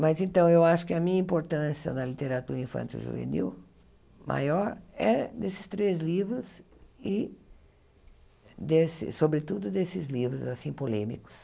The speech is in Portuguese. Mas, então, eu acho que a minha importância na literatura infanto-juvenil maior é desses três livros e, desse sobretudo, desses livros assim polêmicos.